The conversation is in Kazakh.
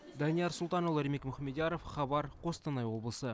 данияр сұлтанұлы ермек мұхамедияров хабар қостанай облысы